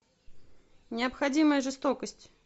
необходимая жестокость